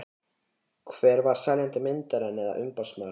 Hver var seljandi myndarinnar eða umboðsmaður hans?